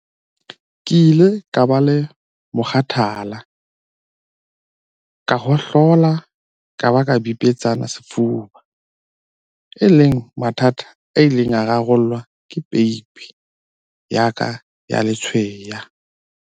"Ke ile ka ba le mokgathala, ka hohlola ka ba ka bipetsana sefuba, e leng mathata a ileng a rarollwa ke peipi ya ka ya letshweya."